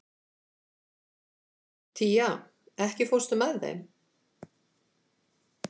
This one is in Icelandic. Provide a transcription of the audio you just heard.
Tía, ekki fórstu með þeim?